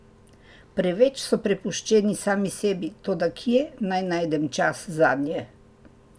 Preveč so prepuščeni sami sebi, toda kje naj najdem čas zanje?